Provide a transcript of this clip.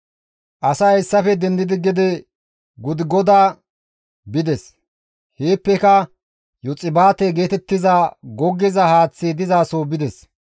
Asay hessafe dendidi gede Gudigoda bides; heeppeka Yoxbaate geetettiza goggiza haaththi dizaso bides.